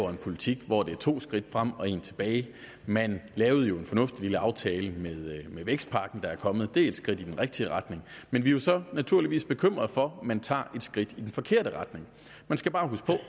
en politik hvor det er to skridt frem og et tilbage man lavede jo en fornuftig lille aftale med den vækstpakke der er kommet det er et skridt i den rigtige retning men vi er så naturligvis bekymret for at man tager et skridt i den forkerte retning man skal bare huske